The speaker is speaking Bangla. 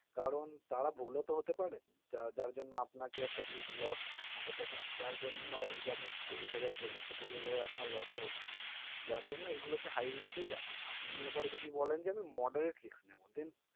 কারণ তারা ভুল ও তো হতে পারে যা যার জন্য আপনাকে একটা huge loss হতে পারে, যার জন্য ওই যে আপনি কুড়ি হাজার বললেন তো কুড়ি হাজার আপনার loss ও হতে পারে যার জন্য এই গুলোকে high risk এই রাখে। আপনি এবার যদি বলেন আমি moderate risk নেব then